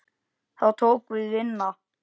Þá tók við vinna.